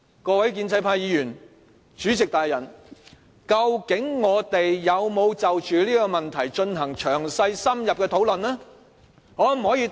各位建制派議員和主席大人，究竟我們有否就着這問題進行詳細深入的討論？